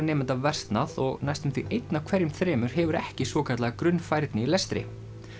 nemenda versnað og næstum því einn af hverjum þremur hefur ekki svokallaða grunnfærni í lestri